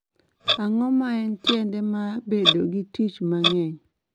ang'o ma en tiende ma bedo gi tich mang'eny